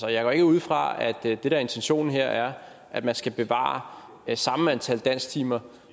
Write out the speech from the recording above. jeg går ikke ud fra at det der er intentionen her er at man skal bevare samme antal dansktimer